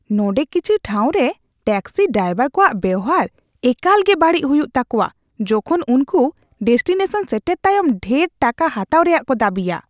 ᱱᱚᱸᱰᱮ ᱠᱤᱪᱷᱤ ᱴᱷᱟᱶ ᱨᱮ ᱴᱮᱠᱥᱤ ᱰᱟᱭᱵᱚᱨ ᱠᱚᱣᱟᱜ ᱵᱮᱣᱦᱟᱨ ᱮᱠᱟᱞᱜᱮ ᱵᱟᱹᱲᱤᱡ ᱦᱩᱩᱭᱜ ᱛᱟᱠᱚᱣᱟ ᱡᱚᱠᱷᱚᱱ ᱩᱱᱠᱩ ᱰᱮᱥᱴᱤᱱᱮᱥᱚᱱ ᱥᱮᱴᱮᱨ ᱛᱟᱭᱚᱢ ᱰᱷᱮᱨ ᱴᱟᱠᱟ ᱦᱟᱛᱟᱣ ᱨᱮᱭᱟᱜ ᱠᱚ ᱫᱟᱹᱵᱤᱭᱟ ᱾